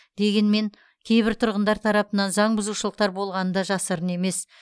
дегенмен кейбір тұрғындар тарапынан заңбұзушылықтар болғаны да жасырын емес